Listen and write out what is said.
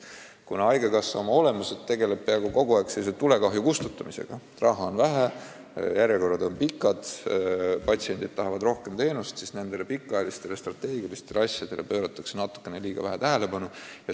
Kuna haigekassa oma olemuselt tegeleb peaaegu kogu aeg tulekahju kustutamisega, raha on vähe, järjekorrad on pikad, patsiendid tahavad rohkem teenust, siis nendele strateegilistele asjadele pööratakse natuke liiga vähe tähelepanu.